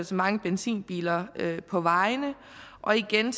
så mange benzinbiler på vejene og igen